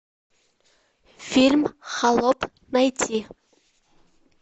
фильм холоп найти